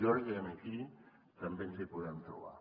jo crec que aquí també ens hi podem trobar